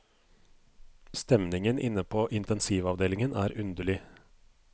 Stemningen inne på intensivavdelingen er underlig.